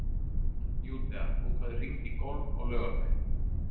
Júdea, bókaðu hring í golf á laugardaginn.